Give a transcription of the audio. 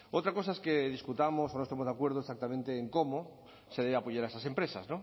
otra cosa es que discutamos o no estemos de acuerdo exactamente en cómo se debe de apoyar a esas empresas